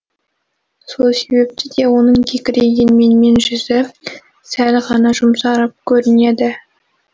сол себепті де оның кекірейген менмен жүзі сәл ғана жұмсарып көрінеді